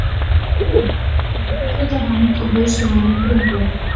Gengur til hennar með útrétta hönd og hausinn ofan í bringu.